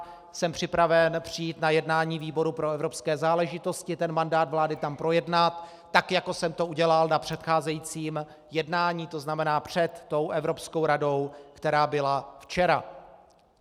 Jsem připraven přijít na jednání výboru pro evropské záležitosti ten mandát vlády tam projednat, tak jako jsem to udělal na předcházejícím jednání, to znamená před tou Evropskou radou, která byla včera.